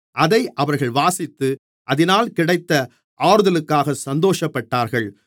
அதை அவர்கள் வாசித்து அதினால் கிடைத்த ஆறுதலுக்காக சந்தோஷப்பட்டார்கள்